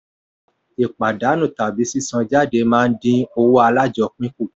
ìpàdánù tàbí sísan jáde máa dín owó alájọpín kù.